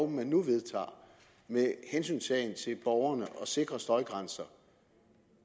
man nu vedtager med hensyntagen til borgerne og sikre støjgrænser